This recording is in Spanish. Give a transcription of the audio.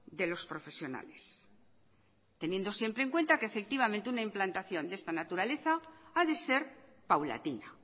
de los profesionales teniendo siempre en cuenta que efectivamente una implantación de esta naturaleza a de ser paulatina